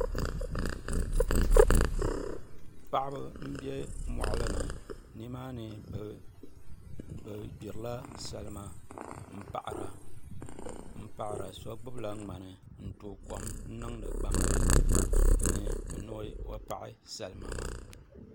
Paɣaba n bɛ moɣali ni nimaani bi gbirila salima n paɣara so gbibila ŋmani n so gbubila ŋmani n tooi kom niŋdi gbambili ni ni o paɣi salima maa